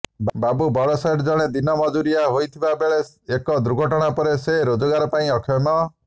ବାବୁ ବଡ଼ସେଠ ଜଣେ ଦିନ ମଜୁରିଆ ହୋଇଥିବା ବେଳେ ଏକ ଦୁର୍ଘଟଣା ପରେ ସେ ରୋଜଗାର ପାଇଁ ଅକ୍ଷମ